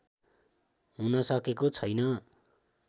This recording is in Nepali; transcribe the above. हुनसकेको छैन